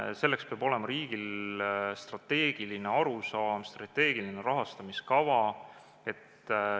Selleks peab riigil olema strateegiline arusaam, strateegiline rahastamiskava.